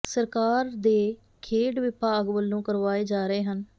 ਸਰਕਾਰ ਦੇ ਖੇਡ ਵਿਭਾਗ ਵਲੋਂ ਕਰਵਾਏ ਜਾ ਰਹੇ ਹਨ